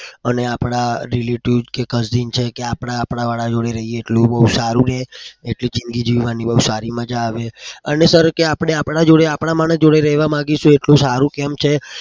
અને આપડા relative કે cousin છે કે આપણા આપણા જોડે રહીએ એટલું બઉ સારું છે. એટલી જિંદગી જીવવાની બઉ સારી મજા આવે.